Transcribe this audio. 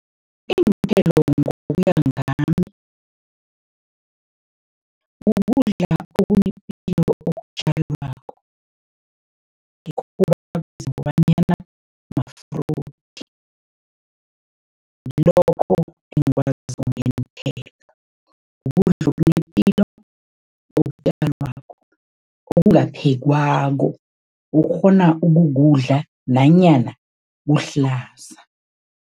Iinthelo ngokuya ngami, kukudla okunepilo okutjalwako, bakwazi ngokobanyana ma-fruits. Ngilokho engikwaziko ngeenthelo, kukudla okunepilo, okutjalwako, okungaphekwako, okghona ukukudla nanyana kuhlaza.